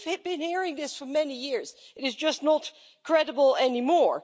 But we've been hearing this for many years and it is just not credible anymore.